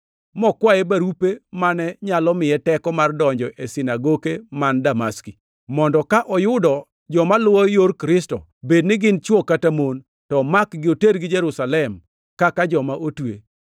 mokwaye barupe mane nyalo miye teko mar donjo e sinagoke man Damaski, mondo ka oyudo joma luwo Yor Kristo, bed ni gin chwo kata mon, to omakgi otergi Jerusalem kaka joma otwe.